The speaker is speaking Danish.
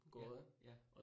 Ja, ja